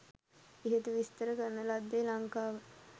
ඉහත විස්තර කරන ලද්දේ ලංකාව